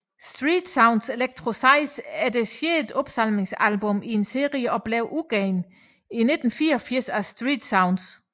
Street Sounds Electro 6 er det sjette opsamlingsalbum i en serie og blev udgivet i 1984 af StreetSounds